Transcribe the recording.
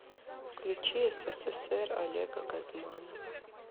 включи ссср олега газманова